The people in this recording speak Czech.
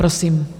Prosím.